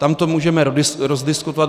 Tam to můžeme rozdiskutovat.